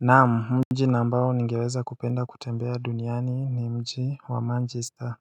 Naam mji na ambao ningeweza kupenda kutembea duniani ni mji wa Manchester